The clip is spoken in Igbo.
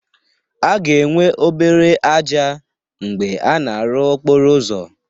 A ga-enwe obere ájá mgbe a na-arụ okporo ụzọ